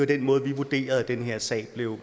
den måde vi vurderede den her sag blev